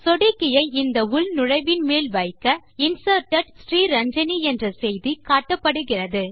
சொடுக்கியை இந்த உள்நுழைவின் மேல் வைக்க Inserted ஸ்ரீரஞ்சனி என்ற செய்தி காட்டப்படுகிறது